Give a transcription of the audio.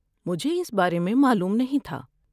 مجھے اس بارے میں معلوم نہیں تھا۔